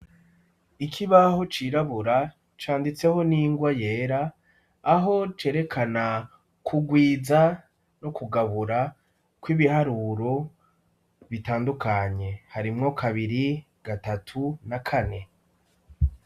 Ikibaho cirabura canditseko n'ingwa yera, aho cerekana kugwiza no kugabura kw'ibiharuro bitandukanye, harimwo kabiri gatatu na kane.